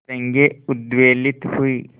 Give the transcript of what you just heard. तरंगे उद्वेलित हुई